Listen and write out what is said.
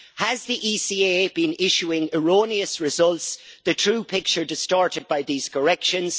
Has the ECA been issuing erroneous results, the true picture distorted by these corrections?